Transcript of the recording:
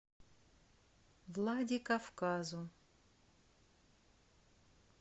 владикавказу